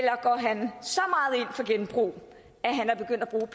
gå